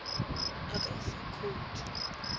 a ka go fa khoute